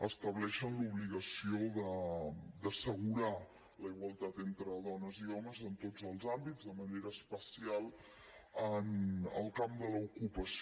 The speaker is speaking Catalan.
estableixen l’obligació d’assegurar la igualtat entre dones i homes en tots els àmbits de manera especial en el camp de l’ocupació